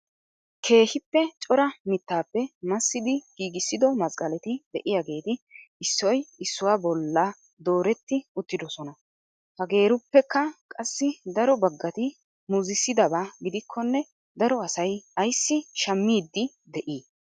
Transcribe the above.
Keehippe cora mittappe massidi giigissido masqqaleti de'iyaageeti issoy issuwaa bolla dooretti uttidoosona. Hageeruppekka qassi daro baggati muzsidaaba gidikkone daro asay ayssi shammiidi de'ii?